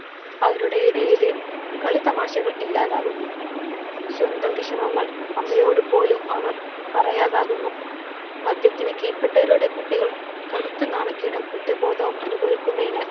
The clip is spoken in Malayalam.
അവരുടെ ഇടയിൽ കളിതമാശകൾ ഇല്ലാതാകുന്നു. സ്വന്തം വിഷമങ്ങൾ അമ്മയോട് പോലും അവർ പറയാതാകുന്നു. മദ്യത്തിന് കീഴപ്പെട്ടവരുടെ കുട്ടികൾ കടുത്ത നാണക്കേടും കുറ്റബോധവും അനുഭവിക്കുന്നതിനാൽ